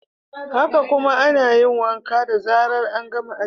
Haka kuma, ana yin wanka da zarar an gama aski.